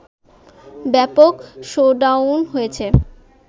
ব্যাপক শোডাউন হয়েছে